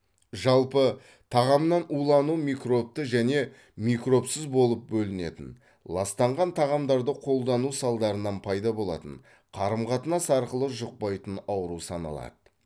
жалпы тағамнан улану микробты және микробсыз болып бөлінетін ластанған тағамдарды қолдану салдарынан пайда болатын қарым қатынас арқылы жұқпайтын ауру саналады